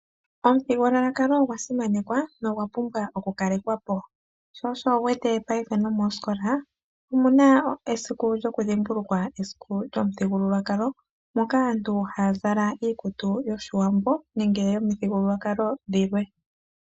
Omuthigululwakalo ogwasimanekwa nogwa pumbwa okukalekwapo, sho osho wuwete paife nomoosikola omuna esiku lyokudhimbulukwa esiku lyomuthigululwakalo moka aantu haya zala iikutu yOshiwambo nenge yomithigululwakalo dhilwe.